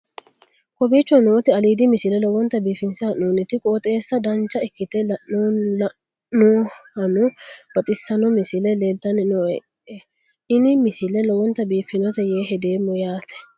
kowicho nooti aliidi misile lowonta biifinse haa'noonniti qooxeessano dancha ikkite la'annohano baxissanno misile leeltanni nooe ini misile lowonta biifffinnote yee hedeemmo yaate